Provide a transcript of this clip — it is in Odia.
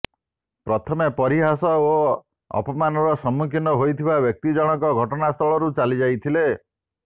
ପ୍ରଥମେ ପରିହାସ ଓ ଅପମାନର ସମ୍ମୁଖୀନ ହୋଇଥିବା ବ୍ୟକ୍ତି ଜଣଙ୍କ ଘଟଣାସ୍ଥଳରୁ ଚାଲିଯାଇଥିଲେ